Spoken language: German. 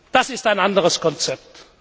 Das ist ein anderes Konzept.